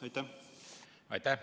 Aitäh!